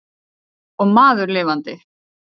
Og maður lifandi.